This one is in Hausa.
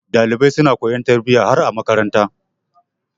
Ɗalibai suna koyon tarbiyya har a makaranta.